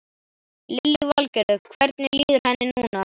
Lillý Valgerður: Hvernig líður henni núna?